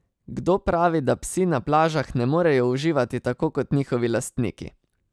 Kdo pravi, da psi na plažah ne morejo uživati tako kot njihovi lastniki?